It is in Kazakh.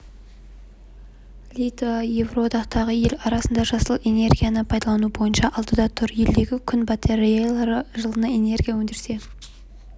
литва еуроодақтағы ел арасында жасыл энергияны пайдалану бойынша алдыда тұр елдегі күн батареялары жылына энергия өндірсе